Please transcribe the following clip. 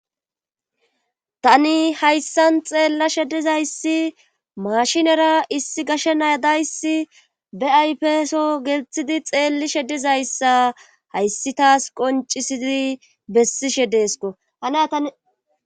tani hayssan xeellashe dizayssi mashinera issi gashe naya dayssi be aypeso gelthidi xeellishe dizayssa hayssi taas qoncisidi bessishe deesko